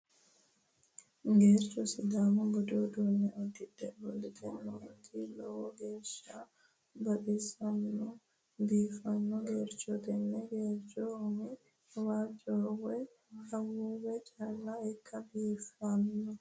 Geercho sidaamu budu uduunne uddidhe ofolte nooti lowo geeshsha baxissanno biiffanno geerchooti. Tenne geercho umi waajjoho woy awuuwe calla ikke biiffanno.